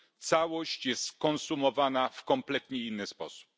Całość jest konsumowana w kompletnie inny sposób.